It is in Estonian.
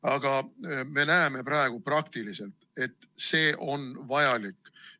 Aga me näeme praegu praktikas, et see on vajalik.